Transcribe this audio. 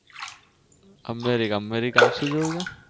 Canada Canada ત્યાં શું જોયું છે?